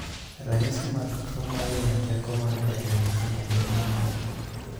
Ranyisi mag tuo mahinyo teko mar del e nyithindo gin ang'o?